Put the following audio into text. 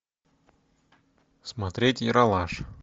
смотреть ералаш